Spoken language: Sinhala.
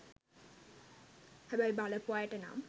හැබැයි බලපු අයට නම්